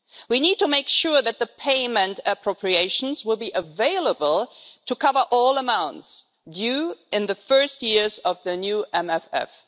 We need to make sure that the payment appropriations will be available to cover all amounts due in the first years of the new MFF.